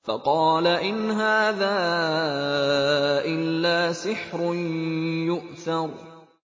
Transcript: فَقَالَ إِنْ هَٰذَا إِلَّا سِحْرٌ يُؤْثَرُ